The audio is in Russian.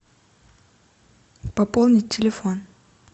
пополнить телефон